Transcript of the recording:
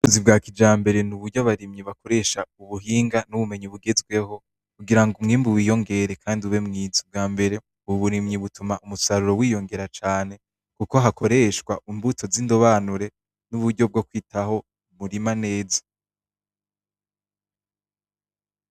Uburimyi bwa kijambere ni uburyo abarimyi bakoresha mubuhinga bw'ubumenyi bugezweho kugira umwimbu wiyongere Kandi ube mwiza ,ubwambere uburimyi bituma umusaruro wiyongere cane kuko hakoreshwa imbuto z'indobanure n'uburyo bwokwitaho umurima neza